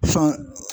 Sɔn